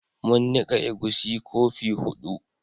Mun nika egusi kofi hudu